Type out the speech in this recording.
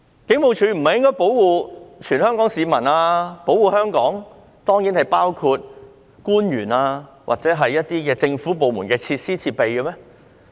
警務處不是應該保護全港市民，保護香港，當然亦包括官員或某些政府部門的設施和設備嗎？